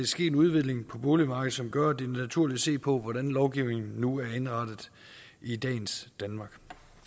sket en udvikling på boligmarkedet som gør at det er naturligt at se på hvordan lovgivningen nu er indrettet i dagens danmark